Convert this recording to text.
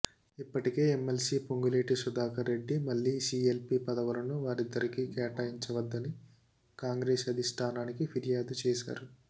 ఇప్పటికే ఎమ్మెల్సీ పొంగులేటి సుధాకర్ రెడ్డి మళ్లీ సీఎల్పీ పదవులను వారిద్దరికి కేటాయించవద్దని కాంగ్రెస్ అధిష్టానానికి ఫిర్యాదు చేశారు